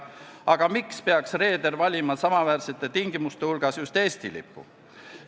Aga miks peaks reeder valima samaväärsete tingimuste korral just Eesti lipu?